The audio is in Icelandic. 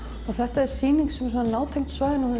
þetta er sýning sem er nátengd svæðinu og